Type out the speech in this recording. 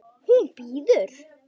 Hún bíður!